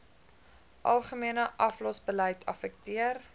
algemene aflosbeleid affekteer